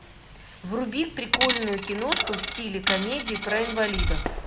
вруби прикольную киношку в стиле комедии про инвалидов